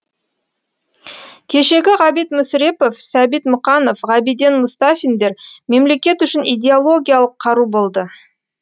кешегі ғабит мүсірепов сәбит мұқанов ғабиден мұстафиндер мемлекет үшін идеологиялық қару болды